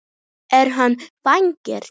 Er hann farinn?